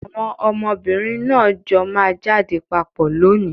Àwọn ọmọbìnrin náà jọ máa jáde papọ̀ lónìí.